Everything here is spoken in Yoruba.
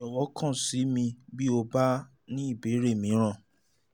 jọ̀wọ́ kàn sí mi bí o bá ní ìbéèrè mìíràn